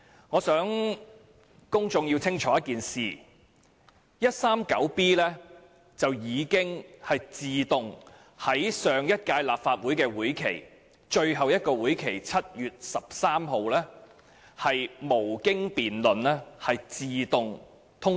我想公眾弄清楚一件事，香港法例第 139B 章已經在上屆立法會的最後一次會議，即在7月13日會議上無經辯論自動獲得通過。